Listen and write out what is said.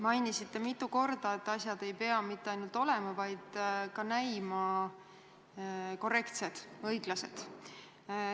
Mainisite mitu korda, et asjad ei pea mitte ainult olema, vaid ka näima korrektsed, õiglased.